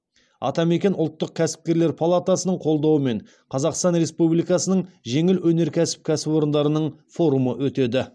атамекен ұлттық кәсіпкерлер палатасының қолдауымен қазақстан республикасының жеңіл өнеркәсіп кәсіпорындарының форумы өтеді